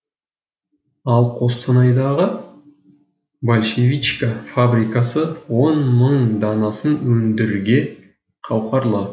ал қостанайдағы большевичка фабрикасы он мың данасын өндірге қауқарлы